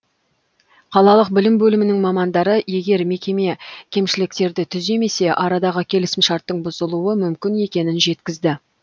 қалалық білім бөлімінің мамандары егер мекеме кемшіліктерді түземесе арадағы келісімшарттың бұзылуы мүмкін екенін жеткізді